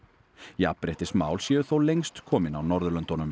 jafnréttismál séu þó lengst komin á Norðurlöndunum